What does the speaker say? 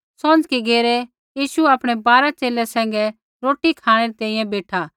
सौंझ़की घेरै यीशु आपणै बारा च़ेले सैंघै रोटी खाँणै री तैंईंयैं बेठा